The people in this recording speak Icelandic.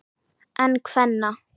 En kvenna?